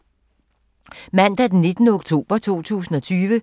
Mandag d. 19. oktober 2020